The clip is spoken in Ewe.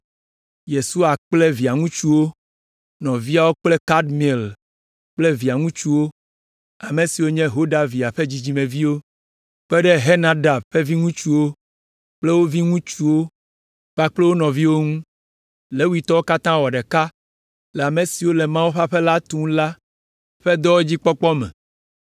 Yesua kple via ŋutsuwo, nɔviawo kple Kadmiel kple via ŋutsuwo, ame siwo nye Hodavia ƒe dzidzimeviwo, kpe ɖe Henadad ƒe viŋutsuwo kple wo viŋutsuwo kpakple wo nɔviwo ŋu. Levitɔwo katã wɔ ɖeka le ame siwo le Mawu ƒe aƒe la tum la ƒe dɔwo dzi kpɔkpɔ me.